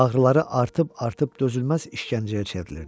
Ağrıları artıb-artıb dözülməz işgəncəyə çevrilirdi.